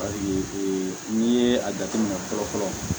ee n'i ye a jateminɛ fɔlɔ fɔlɔ